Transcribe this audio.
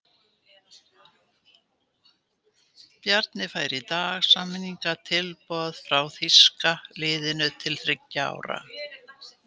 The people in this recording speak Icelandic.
Bjarni fær í dag samningstilboð frá þýska liðinu til þriggja ára.